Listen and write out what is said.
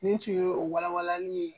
Nin tun ye o walanli ye.